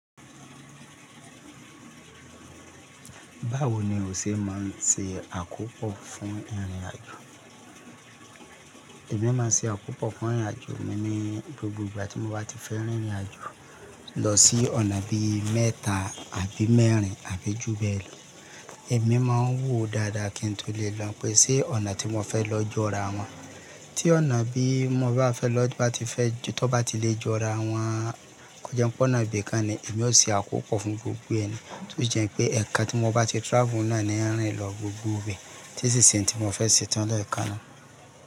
Báwo ni o e máà ń e àkópọ fún ìrìnàjò? Èmi máa ń se àkópò fún ìrìnàjò mi ní gbogbo ìgbà tí mo bá ti fẹ́ rìnrìnàjò lọ sí ọ̀nà bí i mẹ́ta àbí mẹ́rin àbí jù bẹ́ẹ̀ lọ. Èmi máa ń wò dáadáa kí n tó lè lọ pé sé ọ̀nà tí mo fẹ́ lọ jọ́ra wọn. Tí ọ̀nà bí i mo bá fẹ́ lọ bá ti fẹ́ tó bá ti lè jọ́ra wọn, kò jẹ́ ń pọ́nà ibì kan ni èmi ó se àkópò fún gbogbo ẹ ni tó jẹ́ pé ẹ̀kan tí mo bá ti travel náà ni ń rìn lọ gbogbo bẹ́ẹ̀ tí n sì se ntí mo fẹ́ setán lẹẹkanná.